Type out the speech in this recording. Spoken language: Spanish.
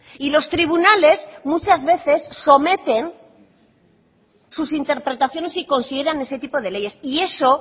y los tribunales muchas veces someten sus interpretaciones y consideran ese tipo de leyes y eso